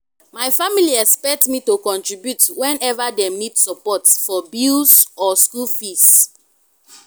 my family expect me to contribute whenever them need support for bills or school fees.